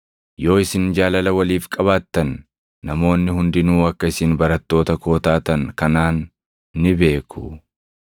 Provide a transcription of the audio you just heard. Yoo isin jaalala waliif qabaattan namoonni hundinuu akka isin barattoota koo taatan kanaan ni beeku.”